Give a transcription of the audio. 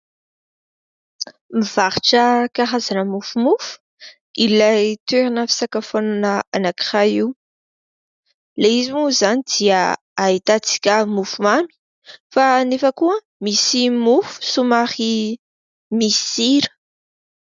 Mivarotra karazana mofomofo ilay toerana fisakafoanana anankiray io. llay izy moa izany dia ahitantsika mofomamy fa nefa koa misy mofo somary misy sira.